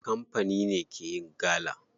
Kamfani ne ke yin gala.